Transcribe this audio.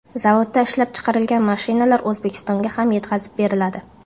Zavodda ishlab chiqarilgan mashinalar O‘zbekistonga ham yetkazib beriladi.